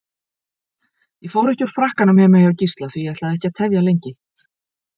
Ég fór ekki úr frakkanum heima hjá Gísla því ég ætlaði ekki að tefja lengi.